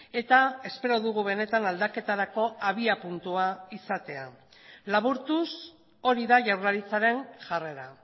eta espero dugu benetan aldaketarako abiapuntua izatea laburtuz hori da jaurlaritzaren jarrera